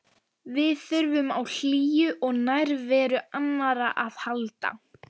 Við þurfum á hlýju og nærveru annarra að halda.